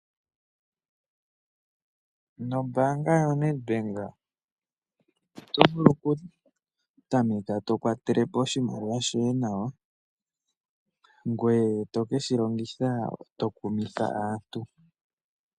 Nombaanga yoNedbank oto vulu okutameka to kwatele po oshimaliwa shoye nawa ngoye to ke shi longitha to kumitha aantu.